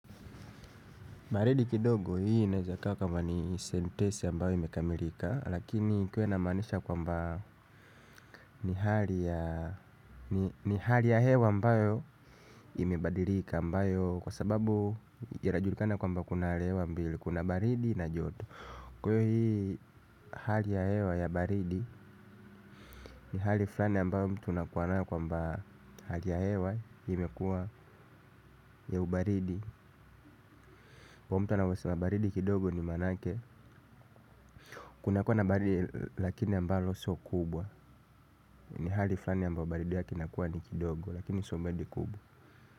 Baridi kidogo hii inaeza kaa kama ni sentesi ambayo imekamilika lakini ikiwa ina maanisha kwamba ni hali ya hewa mbayo imebadilika ambayo kwa sababu inajulikana kwamba kuna hali hewa mbili kuna baridi na joto. Kwahiyo hii hali ya hewa ya baridi ni hali fulani ambayo mtu una kuwanayo kwamba hali ya hewa imekua ya ubaridi kwahiyo mtu anavyosema baridi kidogo ni manake kuna kuwa na baridi lakini ambalo so kubwa. Ni hali flani ambapo baridi lake linakua ni kidogo lakini sio baridi kubwa.